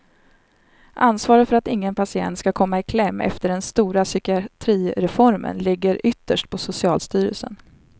Ansvaret för att ingen patient skulle komma i kläm efter den stora psykiatrireformen ligger ytterst på socialstyrelsen.